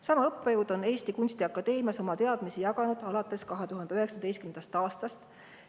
Sama õppejõud on Eesti Kunstiakadeemias oma teadmisi jaganud alates 2019. aastast.